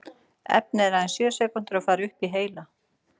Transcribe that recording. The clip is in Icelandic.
Efnið er aðeins sjö sekúndur að fara upp í heila.